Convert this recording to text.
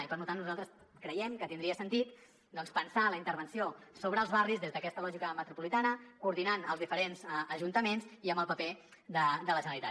i per tant nosaltres creiem que tindria sentit doncs pensar la intervenció sobre els barris des d’aquesta lògica metropolitana coordinant els diferents ajuntaments i amb el paper de la generalitat